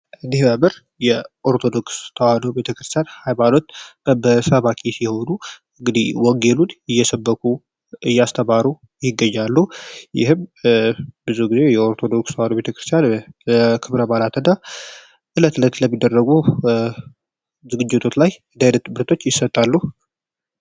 ምርጫ ምርጫ የተለያዩ የፖለቲካ ፓርቲዎች ለራሴ ወንድ ምርጫ በየሱሰ የሚካሄድ ነው ስርዓት ላይ ያተኮረችውን በጣም አሪፍ ፓርቲ ነው